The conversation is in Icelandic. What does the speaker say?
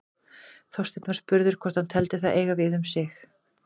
Þorsteinn var spurður hvort hann teldi það eiga við um sig.